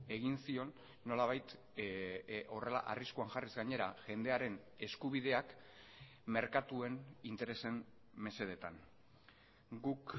egin zion nolabait horrela arriskuan jarriz gainera jendearen eskubideak merkatuen interesen mesedetan guk